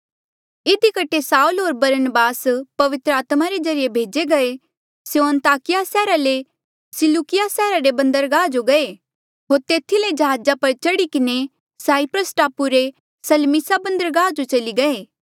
इधी कठे साऊल होर बरनबास पवित्र आत्मा रे ज्रीए भेजे गये स्यों अन्ताकिया सैहरा ले सिलूकिया सैहरा रे बन्दरगाह जो गये होर तेथी ले जहाजा पर चढ़ी किन्हें साईप्रस टापू रे सलमीसा बन्दरगाह जो चली गये